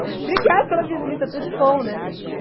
Obrigada pela visita, tudo de bom, né?